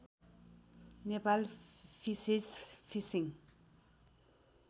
Nepal fishes fishing